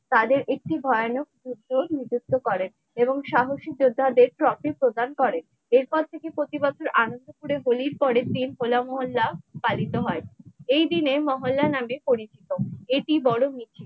তাদের একটি ভয়ানক যুদ্ধ ও নিযুক্ত করেন এবং সাহসী যোদ্ধাদের trophy প্রদান করেন এরপর থেকে প্রতিবছর আনন্দপুরের হোলির পরের দিন হো লা মহল্লা পালিত হয় এই দিনে মহল্লা নামে পরিচিত এটি বড় মিছিল ।